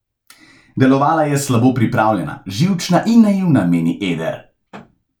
Delovala je slabo pripravljena, živčna in naivna, meni Eder.